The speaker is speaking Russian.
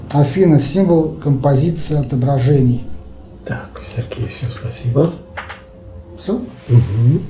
афина символ композиции отображений